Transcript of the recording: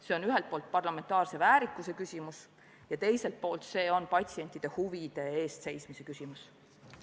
See on ühelt poolt parlamentaarse väärikuse küsimus ja teiselt poolt see on patsientide huvide eest seismise küsimus.